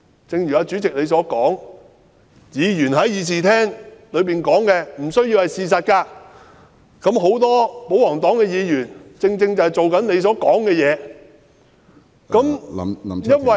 正如主席曾經說過，議員在議事廳所說的不需要是事實，很多保皇黨議員正是如主席所說般行事。